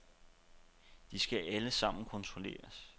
De skal alle sammen kontrolleres.